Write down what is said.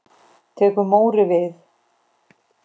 Tekur Móri við?